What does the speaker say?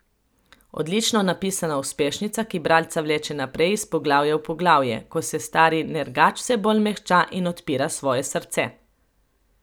Odlično napisana uspešnica, ki bralca vleče naprej iz poglavja v poglavje, ko se stari nergač vse bolj mehča in odpira svoje srce.